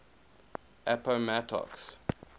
appomattox